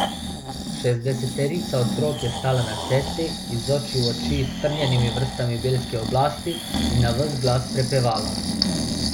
Šestdeseterica otrok je stala na cesti, iz oči v oči s strnjenimi vrstami belske oblasti, in na ves glas prepevala.